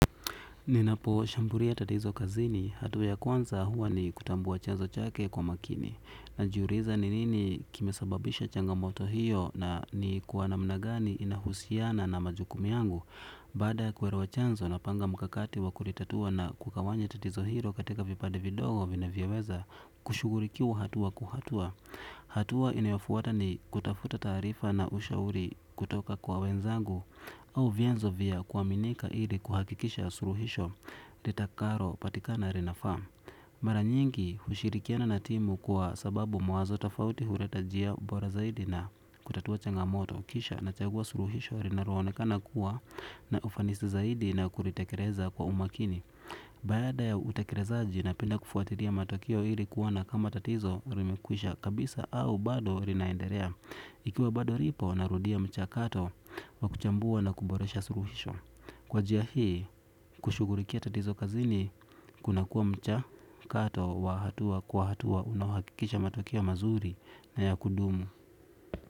Ninapo shambulia tatizo kazini, hatua ya kwanza huwa ni kutambua chanzo chake kwa makini. Najiuliza ni nini kimesababisha changamoto hiyo na ni kwa namna gani inahusiana na majukumu yangu. Baada ya kuelewa chanzo na panga mkakati wakulitatua na kugawanya tatizo hilo katika vipande vidogo vinavyoweza kushughulikiwa hatua kwa hatua. Hatua inayofuata ni kutafuta taarifa na ushauri kutoka kwa wenzangu au vyanzo vya kuaminika ili kuhakikisha suluhisho litakalo patikana linafaa. Mara nyingi hushirikiana na timu kwa sababu mawazo tofauti huleta njia bora zaidi na kutatua changamoto kisha na chagua suluhisho linaloonekana kuwa na ufanisi zaidi na kulitekeleza kwa umakini. Baada ya utekelezaji napenda kufuatilia matokeo ili kuona kama tatizo limekwisha kabisa au bado linaendelea. Ikiwa bado lipo narudia mcha kato wa kuchambua na kuboresha suluhisho. Kwa njia hii kushughulikia tatizo kazini kunakuwa mchakato wa hatua kwa hatua unaohakikisha matokeo mazuri na ya kudumu.